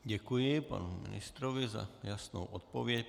Děkuji panu ministrovi za jasnou odpověď.